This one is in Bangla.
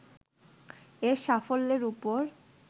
এর সাফল্যের উপর